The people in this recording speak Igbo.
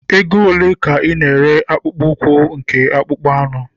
Oge ole ka ị na-ere akpụkpọ ụkwụ nke akpụkpọ anụ?